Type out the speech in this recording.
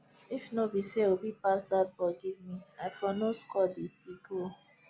if no be say obi pass dat ball give me i for no score the the goal